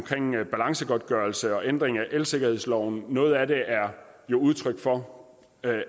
balancegodtgørelse og ændring af elsikkerhedsloven noget af det er jo udtryk for